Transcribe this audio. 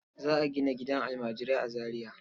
Za a gina gidan almajirai a Zariya.